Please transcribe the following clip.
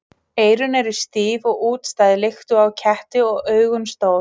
Eyrun eru stíf og útstæð líkt og á ketti og augun stór.